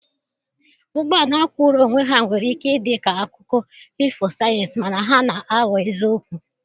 Ụgbọ ala kwụụrụ onwe ya nwere ike ịdị ka akụkọ ifo sayensị, mana ha na-aghọ eziokwu.